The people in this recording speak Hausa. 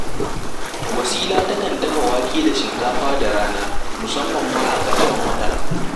Wasila takan dafa wake da shinkafa da rana, musamman ma a ƙarshen wata